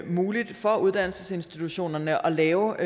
muligt for uddannelsesinstitutionerne at lave